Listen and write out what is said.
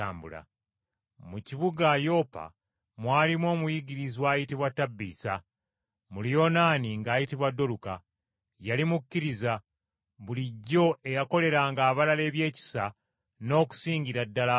Mu kibuga Yopa mwalimu omuyigirizwa ayitibwa Tabbiisa, mu Luyonaani ng’ayitibwa Doluka. Yali mukkiriza, bulijjo eyakoleranga abalala ebyekisa n’okusingira ddala abaavu.